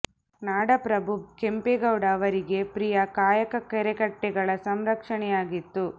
ನಾಡ ಪ್ರಭು ಕೆಂಪೇ ಗೌಡ ಅವರಿಗೆ ಪ್ರಿಯ ಕಾಯಕ ಕೆರೆಕಟ್ಟೆಗಳ ಸಂರಕ್ಷಣೆಯಾಗಿತ್ತು